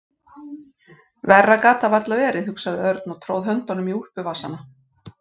Verra gat það varla verið, hugsaði Örn og tróð höndunum í úlpuvasana.